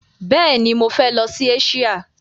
Bẹ́ẹ̀ni, mọ fẹ lọ sí Eṣíà.